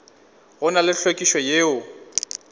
go na le hlwekišo yeo